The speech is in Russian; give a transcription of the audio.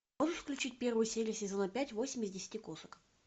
можешь включить первую серию сезона пять восемь из десяти кошек